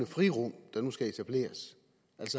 frirum der nu skal etableres